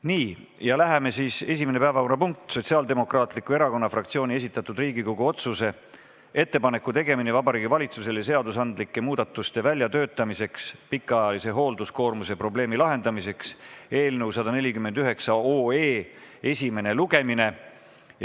Nii, esimene päevakorrapunkt: Sotsiaaldemokraatliku Erakonna fraktsiooni esitatud Riigikogu otsuse "Ettepaneku tegemine Vabariigi Valitsusele seadusandlike muudatuste väljatöötamiseks pikaajalise hoolduskoormuse probleemi lahendamiseks" eelnõu esimene lugemine.